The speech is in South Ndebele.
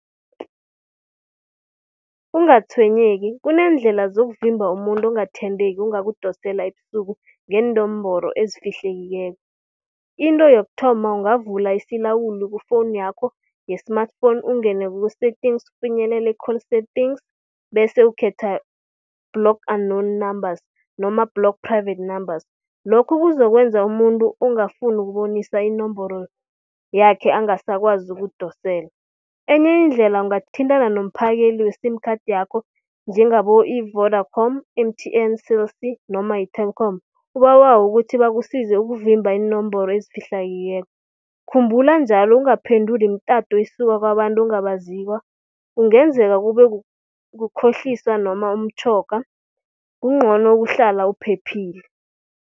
Ungatshwenyeki, kuneendlela zokuvimba umuntu ongathembeki ongakudosela ebusuku ngeenomboro ezifihlekileko. Into yokuthoma, ungavula isilawuli ku-phone yakho ye-smartphone, ungene ku-settings ufinyelele i-call settings, bese ukhetha block unknown numbers, noma block private numbers. Lokho kuzokwenza umuntu ongafuni ukubonisa inomboro yakhe angasakwazi ukudosela. Enye indlela ungathintana nomphakeli we-sim card yakho, njengabo i-Vodacom, M_T_N, Cell C noma yi-Telkom ubabawe ukuthi bakusize ukuvimba iinomboro ezifihlakileko. Khumbula njalo ungaphenduli imitato esuka kwabantu ongabaziko, kungenzeka kube kukhohlisa noma umtjhoga kuncono ukuhlala uphephile.